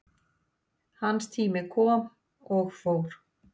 Hans tími kom og fór